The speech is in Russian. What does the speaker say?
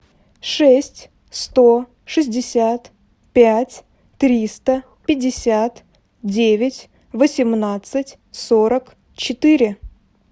шесть сто шестьдесят пять триста пятьдесят девять восемнадцать сорок четыре